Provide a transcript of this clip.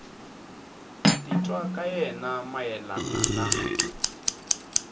titwa ka yena mayelana na